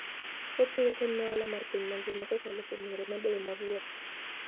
Ochiwo kony ne ohala mar piny mangima kokalo kuom yore mabeyo mag wuoth.